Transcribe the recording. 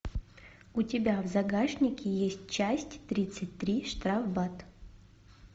у тебя в загашнике есть часть тридцать три штрафбат